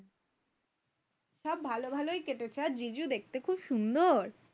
সব ভালো ভালোই কেটেছে আর জিজু দেখতে খুব সুন্দর।